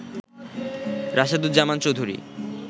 Rasheduzzaman Chowdhury